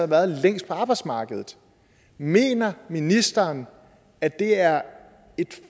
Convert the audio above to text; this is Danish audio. været længst på arbejdsmarkedet mener ministeren at det er